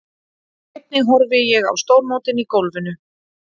Einnig horfi ég á stórmótin í golfinu.